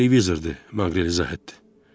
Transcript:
Televizordur, Maqrel izah etdi.